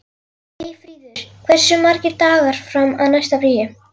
Eyfríður, hversu margir dagar fram að næsta fríi?